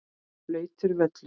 Blautur völlur.